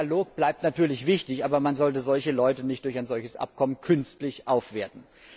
Dialog bleibt natürlich wichtig, aber man sollte solche Leute nicht durch ein solches Abkommen künstlich aufwerten.